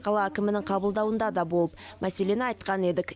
қала әкімінің қабылдауында да болып мәселені айтқан едік